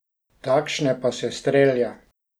Takšne pa se strelja.